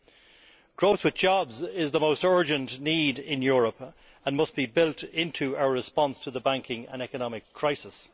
Employment growth is the most urgent need in Europe and must be built into our response to the banking and economic crisis.